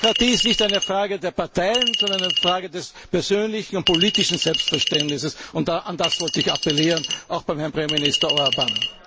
Demokratie ist nicht eine Frage der Parteien, sondern eine Frage des persönlichen und politischen Selbstverständnisses. Daran wollte ich appellieren, auch bei Herrn Premierminister Orbán.